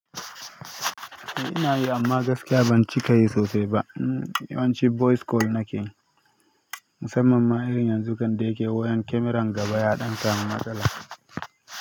Eh ina yi amma gaskiya ban cika yi sosai ba. Yanzu voice call nake yi. Musamman ma irin yanzu kande yake wayan, kyamaran gaba ya ɗansa mu matsala.